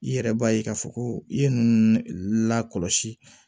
I yɛrɛ b'a ye k'a fɔ ko i ye ninnu lakɔlɔsi